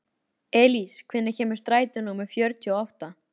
Elís, hvenær kemur strætó númer fjörutíu og átta?